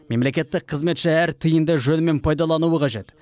мемлекеттік қызметші әр тиынды жөнімен пайдалануы қажет